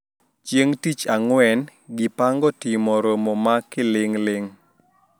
Chieng` tich Ang`wen gipango timo romo ma kiling`ling`